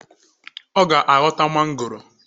Ọ ga aghọta mangoro